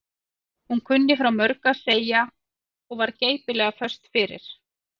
Hún kunni frá mörgu að segja og var geipilega föst fyrir.